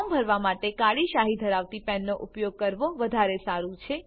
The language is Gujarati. ફોર્મ ભરવા માટે કાળી શાહી ધરાવતી પેનનો ઉપયોગ કરવો વધારે સારું છે